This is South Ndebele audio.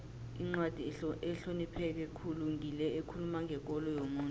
incwadi ehlonipheke khulu ngile ekhuluma ngekolo yomuntu